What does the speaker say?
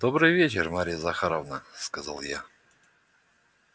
добрый вечер марья захаровна сказал я